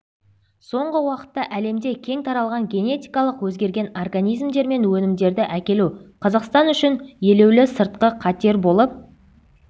соңғы уақытта әлемде кең таралған генетикалық өзгерген организмдер мен өнімдерді әкелу қазақстан үшін елеулі сыртқы қатер болып